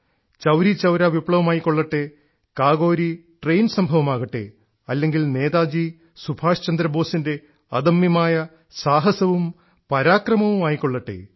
ചൌരീചൌരാ വിപ്ലവമായിക്കൊള്ളട്ടെ കാകോരി ട്രെയ്ൻ സംഭവമാകട്ടെ അല്ലെങ്കിൽ നേതാജി സുഭാഷ്ചന്ദ്രബോസിൻറെ അദമ്യമായ സാഹസവും പരാക്രമവുമായിക്കൊള്ളട്ടെ